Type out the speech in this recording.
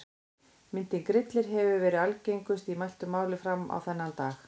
Myndin Grillir hefur verið algengust í mæltu máli fram á þennan dag.